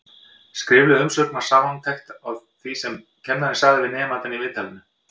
Skrifleg umsögn var samantekt á því sem kennarinn sagði við nemandann í viðtalinu.